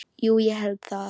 Jú ég held það.